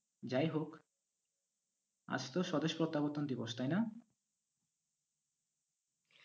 যাই হোক আজ তো স্বদেশ প্রত্যাবর্তন দিবস, তাইনা?